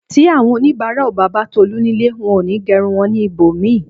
Tí àwọn onibara ó bá bà Tolu nílé, wón òní gerun wón ní ibòmíì